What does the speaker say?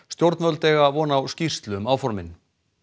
stjórnvöld eiga von á skýrslu um áformin